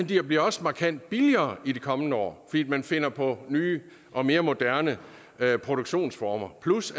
de bliver også markant billigere i de kommende år fordi man finder på nye og mere moderne produktionsformer plus